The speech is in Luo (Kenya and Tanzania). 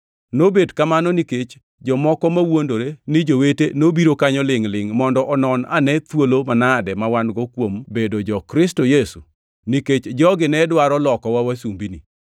Nobet kamano, nikech jomoko mawuondore ni jowete nobiro kanyo lingʼ-lingʼ mondo onon ane thuolo manade ma wan-go kuom bedo jo-Kristo Yesu, nikech jogi ne dwaro lokowa wasumbini.